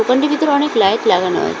দোকানটির ভিতরে অনেক লাইট লাগানো আছে।